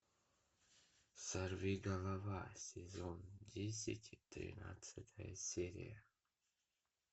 сорви голова сезон десять тринадцатая серия